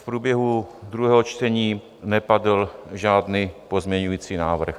V průběhu druhého čtení nepadl žádný pozměňovací návrh.